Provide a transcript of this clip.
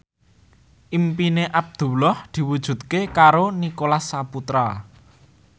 impine Abdullah diwujudke karo Nicholas Saputra